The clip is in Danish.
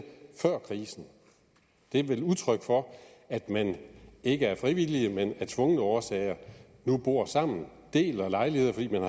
før krisen det er vel et udtryk for at man ikke af frivillige men tvungne årsager nu bor sammen og deler en lejlighed fordi man